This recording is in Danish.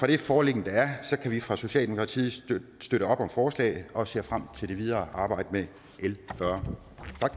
det foreliggende kan vi fra socialdemokratiet støtte op om forslaget og vi ser frem til det videre arbejde med l fyrre